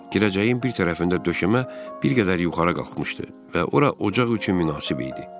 Girəcəyin bir tərəfində döşəmə bir qədər yuxarı qalxmışdı və ora ocaq üçün münasib idi.